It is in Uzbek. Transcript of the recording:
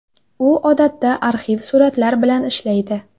U odatda arxiv suratlar bilan ishlaydi.